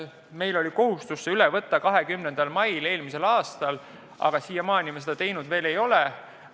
Meil oli kohustus see üle võtta hiljemalt 20. mail eelmisel aastal, aga siiamaani me seda teinud ei ole.